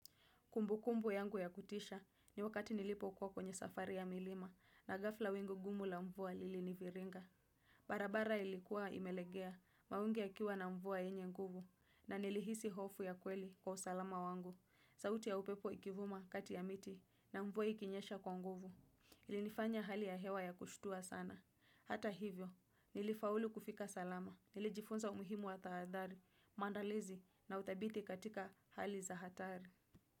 Kumbu kumbu yangu ya kutisha ni wakati nilipokuwa kwenye safari ya milima na ghafla wingu gumu la mvua liliniviringa. Barabara ilikuwa imelegea mawingi yakiwa na mvua yenye nguvu na nilihisi hofu ya kweli kwa usalama wangu. Sauti ya upepo ikivuma kati ya miti na mvua ikinyesha kwa nguvu. Ilinifanya hali ya hewa ya kushtua sana. Hata hivyo, nilifaulu kufika salama. Nilijifunza umuhimu wa taadhari, maandalizi na uthabiti katika hali za hatari.